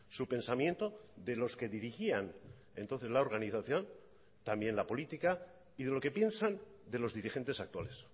su pensamiento de los que dirigían entonces la organización también la política y de lo que piensan de los dirigentes actuales